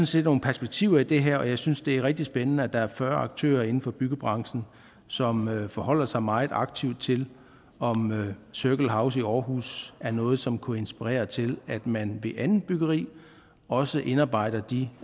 set nogle perspektiver i det her og jeg synes det er rigtig spændende at der er fyrre aktører inden for byggebranchen som forholder sig meget aktivt til om circle house i aarhus er noget som kunne inspirere til at man i andet byggeri også indarbejder de